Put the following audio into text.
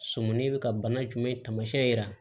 Sɔmɔnin be ka bana jumɛn taamasiyɛn yira